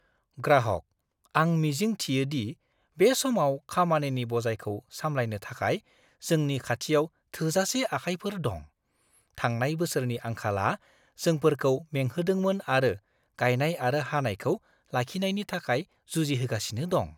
ग्राहकः "आं मिजिं थियो दि बे समाव खामानिनि बजायखौ सामलायनो थाखाय जोंनि खाथियाव थोजासे आखाइफोर दं। थांनाय बोसोरनि आंखालआ जोंफोरखौ मेंहोदोंमोन आरो गायनाय आरो हानायखौ लाखिनायनि थाखाय जुजिहोगासिनो दं।"